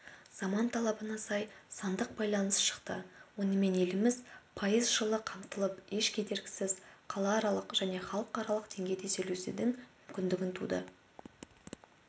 заман талабына сай сандық байланыс шықты онымен еліміз пайыз жылы қамтылып еш кедергісіз қалааралық және халықаралық деңгейде сөйлесудің мүмкіндігі туды